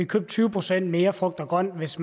købt tyve procent mere frugt og grønt hvis